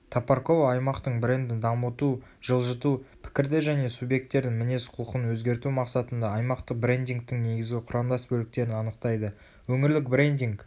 топоркова аймақтың брендін дамыту жылжыту пікірді және субъектердің мінез-құлқын өзгерту мақсатында аймақтық брендингтің негізгі құрамдас бөліктерін анықтайды өңірлік брендинг